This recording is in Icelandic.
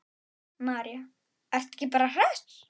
María: Ertu bara hress?